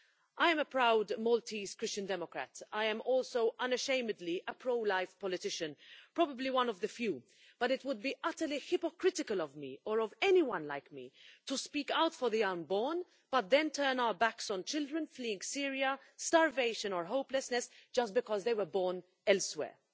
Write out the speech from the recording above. I am a proud Maltese Christian Democrat. I am also unashamedly a pro life politician probably one of the few but it would be utterly hypocritical of me, or of anyone like me, to speak out for the unborn, but then turn our backs on children fleeing Syria, starvation or hopelessness just because they were born elsewhere.